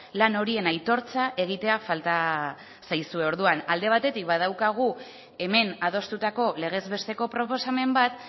lan horien aitortza egitea falta zaizue orduan alde batetik badaukagu hemen adostutako legez besteko proposamen bat